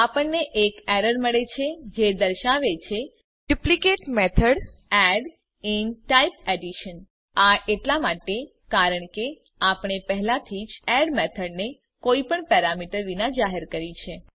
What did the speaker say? આપણને એક એરર મળે છે જે દર્શાવે છે duplicate method add in type addition આ એટલા માટે કારણ કે આપણે પહેલાથી જ એડ મેથડને કોઈપણ પેરામીટર વિના જાહેર કર્યી છે